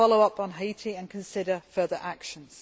We will follow up on Haiti and consider further actions.